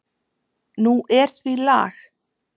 Nú er því lag.